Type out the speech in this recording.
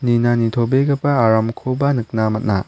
nina nitobegipa aramkoba nikna man·a.